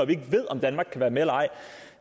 vi ikke ved om danmark kan være med eller ej